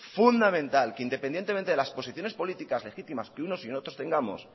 fundamental que independientemente de las posiciones políticas legítimas que unos y otros tengamos